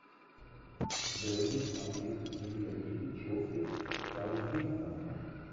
дерби английской премьер лиги челси с саутгемптоном